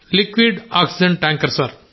liquid oxygen tanker